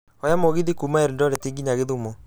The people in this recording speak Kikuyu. oya mũgithi kuuma eldoret nginya githumo